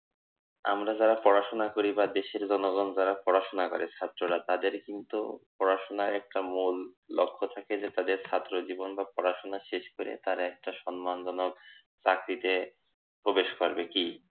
আমরা যারা পড়াশোনা করি বা দেশের জনগণ যারা পড়াশোনা করে ছাত্ররা তাদের কিন্তু পড়াশোনায় একটা মূল লক্ষ্য থাকে যে তাদের ছাত্রজীবন বা পড়াশোনা শেষ করে তারা একটা সম্মানজনক চাকরিতে প্রবেশ করবে কি